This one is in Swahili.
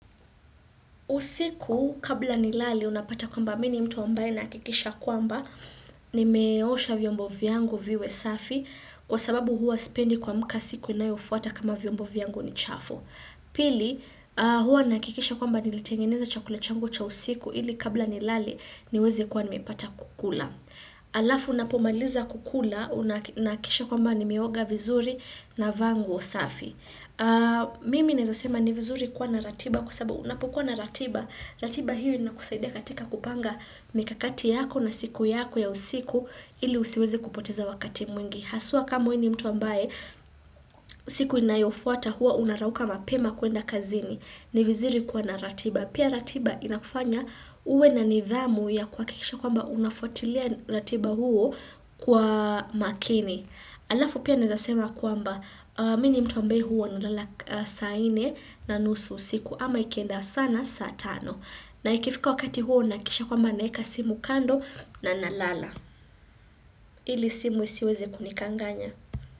Usiku kabla nilale unapata kwamba mimi ni mtu ambaye nahakikisha kwamba nimeosha vyombo vyangu viwe safi kwa sababu huwa sipendi kuamuka siku inayofuata kama vyombo vyangu ni chafu. Pili huwa nahakikisha kwamba niletengeneza chakula changu cha usiku ili kabla nilale niweze kuwa nimepata kukula. Alafu napomaliza kukula nahakikisha kwamba nimeoga vizuri navaa nguo safi. Mimi naweza sema ni vizuri kuwa na ratiba kwa sababu unapokuwa na ratiba ratiba hiyo inakusaidia katika kupanga mikakati yako na siku yako ya usiku ili usiwezi kupoteza wakati mwingi Haswa kama wewe ni mtu ambaye siku inayofuata huwa unarauka mapema kuenda kazini ni vizuri kuwa na ratiba Pia ratiba inakufanya uwe na nidhamu ya kuhakikisha kwamba unafuatilia ratiba huo kwa makini Alafu pia naweza sema kwamba mimi ni mtu ambaye huwa nalala saa nne na nusu usiku ama ikienda sana saa tano. Na ikifika wakati huo nahakikisha kwamba naweka simu kando na nalala. Ili simu isiweze kunikanganya.